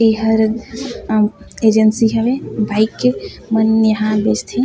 यह हर अ एजेंसी हवे बाइक के हम्म यहाँ बेचथे।